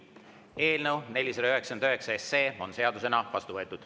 Eelnõu 499 on seadusena vastu võetud.